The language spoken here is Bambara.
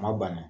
Ma banna